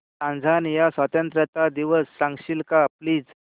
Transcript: Tanzania स्वतंत्रता दिवस सांगशील का प्लीज